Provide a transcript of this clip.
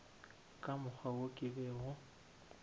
ka mokgwa wo ke bego